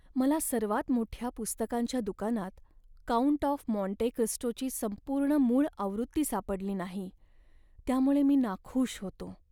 मला सर्वात मोठ्या पुस्तकांच्या दुकानात 'काउंट ऑफ मॉन्टे क्रिस्टो'ची संपूर्ण मूळ आवृत्ती सापडली नाही त्यामुळे मी नाखूष होतो.